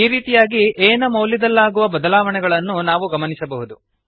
ಈ ರೀತಿಯಾಗಿ a ನ ಮೌಲ್ಯದಲ್ಲಾಗುವ ಬದಲಾವಣೆಗಳನ್ನು ನಾವು ಗಮನಿಸಬಹುದು